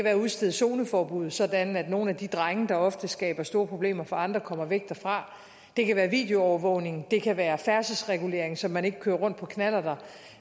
at udstede zoneforbud sådan at nogle af de drenge der ofte skaber store problemer for andre kommer væk derfra det kan være videoovervågning det kan være færdselsregulering så man ikke kører rundt på knallerter